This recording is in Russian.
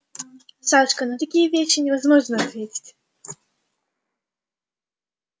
сашка на такие вещи невозможно ответить